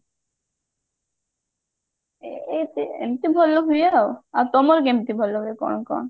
ଏ ଏମତି ଭଲ ହୁଏ ଆଉ ଆଉ ତମର କେମତି ଭଲ ହୁଏ କଣ କଣ